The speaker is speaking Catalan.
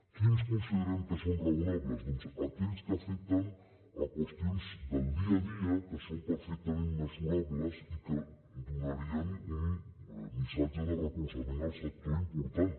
quins considerem que són raonables doncs aquells que afecten qüestions del dia a dia que són perfectament mesurables i que donarien un missatge de recolzament al sector important